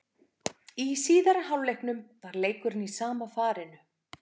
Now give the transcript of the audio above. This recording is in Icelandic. Í síðari hálfleiknum var leikurinn í sama farinu.